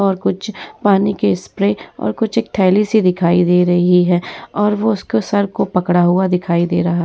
और कुछ पानी के स्प्रे और कुछ एक थैली सी दिखाई दे रही है और वो उसको सर को पकड़ा हुआ दिखाई दे रहा --